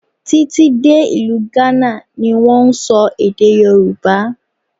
Tí tí dé ìlú Ghana ni wón ń sọ èdè Yorùbá.